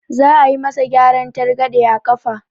Za a yi ma sa gyaran targaɗe a ƙafa